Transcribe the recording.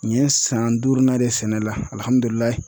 N ye san duurunan de sɛnɛ